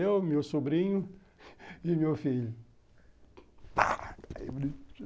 Eu, meu sobrinho e meu filho